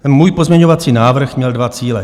Můj pozměňovací návrh měl dva cíle.